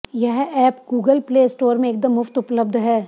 यह app Google play store में एकदम मुफ्त उपलब्ध है